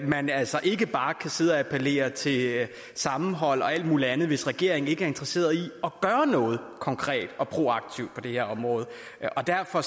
man altså ikke bare kan sidde og appellere til sammenhold og alt muligt andet hvis regeringen ikke er interesseret i at gøre noget konkret og proaktivt på det her område derfor